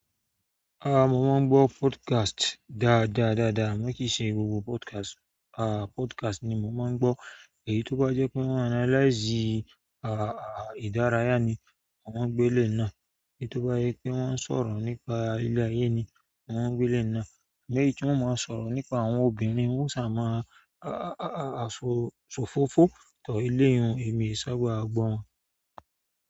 A mo máa ń gbọdọ podcast dáadáa dáadáa, amọ kì í ṣe gbogbo podcast ni máa ń gbọ. Èyí tó bá jẹ́ pé wọ́n á analyze, ah, ah, ìdárayá ni mo máa ń gbọ eléyi náà. Èyí tó bá jẹ́ pé wọ́n ń sọ̀rọ̀ nípa ilé ayi ni mo máa ń gbọ eléyi náà. Àmọ́ èyí tí wọn ò mọ sọ̀rọ̀ nípa àwọn obìnrin wọn ò sáà mọ a a a ofofo tọ eleyun emi ẹ sábà gbọ wọn.